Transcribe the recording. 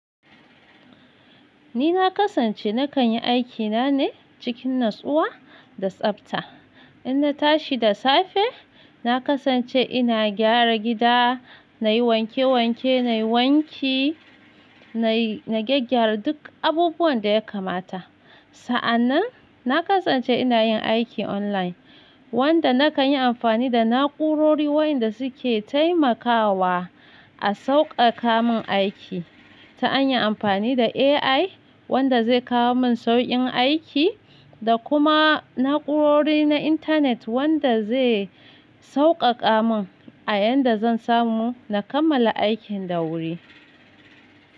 Ni na kasance na kan yi aikina ne cikin natsuwa da tsafta. In na tashi da safe, na kasance ina gyara gida, na yi wanke wanke, na yi wanki, na yi, na gyaggyara duk abubuwan da ya kamata. Sa'annan, na kasance ina yin aiki online wanda na kan yi amfani da na'urori wayanda su ke taimakawa a sauƙaƙa mun aiki. Ta hanyar amfani da AI wanda zai kawo mun saukin aiki da kuma na'urori na internet wanda zai sauƙaƙa mun a yadda zan samu na kammala aikin da wuri.